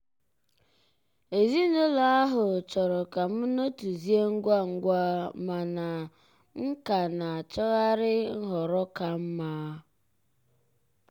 ezinụlọ ahụ chọrọ ka m nọtuzie ngwa ngwa mana m ka na-achọgharị nhọrọ ka mma.